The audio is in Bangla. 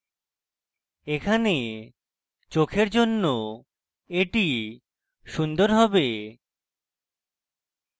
এখানে চোখের জন্য এটি সুন্দর হবে